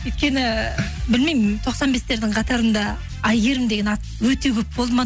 өйткені білмеймін тоқсан бестердің қатарында әйгерім деген ат өте көп болды ма